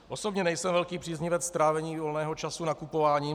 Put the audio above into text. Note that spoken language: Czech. Osobně nejsem velký příznivec trávení volného času nakupováním.